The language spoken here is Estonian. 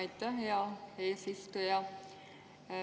Aitäh, hea eesistuja!